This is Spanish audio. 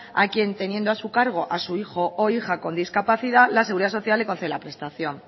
a quien teniendo a su cargo a su hijo o hija con discapacidad la seguridad social le concede la prestación